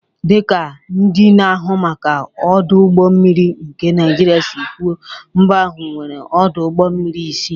Dị ka ndị na-ahụ maka ọdụ ụgbọ mmiri nke Naijiria si kwuo, mba ahụ nwere ọdụ ụgbọ mmiri isii.